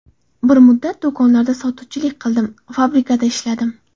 Bir muddat do‘konlarda sotuvchilik qildim, fabrikada ishladim.